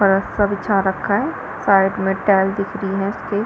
और सबझा रखा है साइड में टाइल दिख रही है उसकी --